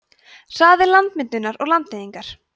hraði landmyndunar og landeyðingar